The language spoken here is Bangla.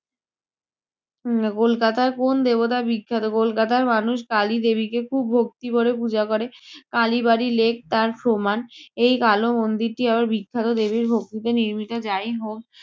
উম কলকাতার কোন্ দেবতা বিখ্যাত? কলকাতার মানুষ কালী দেবীকে খুব ভক্তি ভরে পূজা করে। কালী বাড়ি লেক তার প্রমাণ। এই কালো মন্দিরটি আবার বিখ্যাত দেবীর ভক্তিতে নির্মিত। যাই হোক